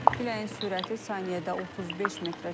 Küləyin sürəti saniyədə 35 metrə çatıb.